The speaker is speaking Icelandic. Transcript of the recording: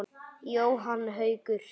Jóhann Haukur.